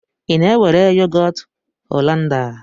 Ị na-ewere yogọt Hollanda?